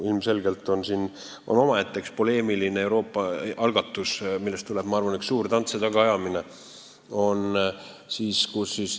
Ilmselgelt on siin omaette poleemiline üks Euroopa algatus, millest tuleb, ma arvan, üks suur tants ja tagaajamine.